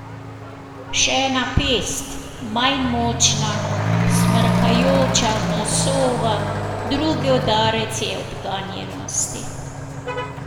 Še ena pest, manj močna, smrkajoča nosova, drugi udarec je od ganjenosti.